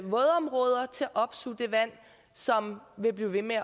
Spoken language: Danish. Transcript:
opsuge det vand som vil blive ved med at